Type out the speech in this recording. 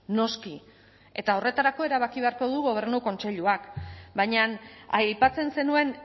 noski eta horretarako erabaki beharko du gobernu kontseiluak baina aipatzen zenuen